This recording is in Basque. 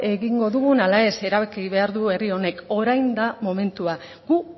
egingo dugun ala ez erabaki behar du herri honek orain da momentua gu